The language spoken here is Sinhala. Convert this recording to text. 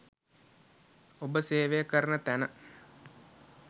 ඔබ සේවය කරන තැන